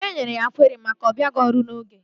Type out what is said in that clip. E nyere ya kweri maka abịaghị ọrụ n'oge ya